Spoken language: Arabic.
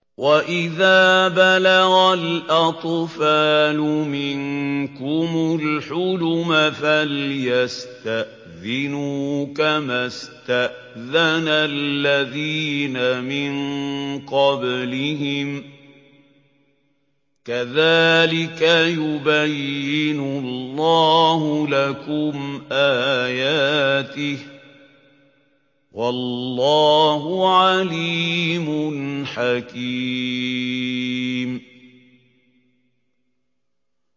وَإِذَا بَلَغَ الْأَطْفَالُ مِنكُمُ الْحُلُمَ فَلْيَسْتَأْذِنُوا كَمَا اسْتَأْذَنَ الَّذِينَ مِن قَبْلِهِمْ ۚ كَذَٰلِكَ يُبَيِّنُ اللَّهُ لَكُمْ آيَاتِهِ ۗ وَاللَّهُ عَلِيمٌ حَكِيمٌ